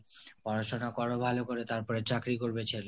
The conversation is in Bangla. পড়াশোনা করো ভালো করে তারপরে চাকরি করবে ছেলে,